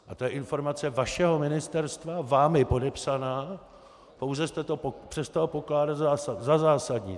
A to je informace vašeho ministerstva, vámi podepsaná, pouze jste to přestal pokládat za zásadní.